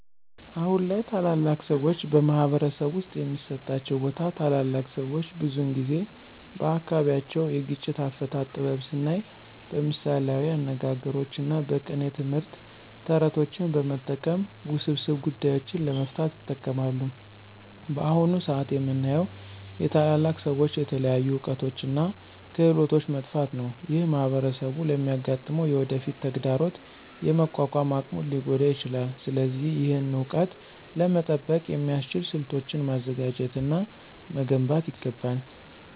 አሁን ላይ ታላላቅ ሰዎች በማኅበረሰብ ውስጥ የሚሰጣቸው ቦታ ታላላቅ ሰዎች ብዙውን ጊዜ በአካባቢያቸው የግጭት አፈታት ጥበብ ስናይ በምሳሌያዊ አነጋግሮች እና በቅኔ ትምህርት፣ ተረቶችን በመጠቀም ውስብስብ ጉዳዮችን ለመፍታት ይጠቀማሉ። በአሁን ሰአት የምናየው የታላላቅ ሰዎች የተለያዩ እውቀቶች እና ክህሎቶች መጥፋት ነው። ይህ ማኅበረሰቡ ለሚያጋጥመው የወደፊት ተግዳሮት የመቋቋም አቅሙን ሊጎዳ ይችላል። ስለዚህ ይህን እውቀት ለመጠበቅ የሚያስችሉ ስልቶችን ማዘጋጀት እና መገንባት ይገባል።